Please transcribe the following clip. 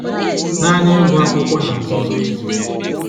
Na anyị ịgụ akwụkwọ na nzuzo ezu